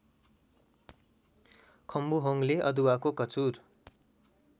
खम्बुहोङले अदुवाको कचुर